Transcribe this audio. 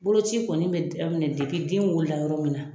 Boloci kɔni bɛ daminɛ den wolo la yɔrɔ min na.